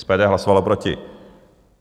SPD hlasovalo proti.